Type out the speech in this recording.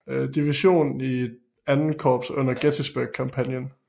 Division i II Korps under Gettysburg kampagnen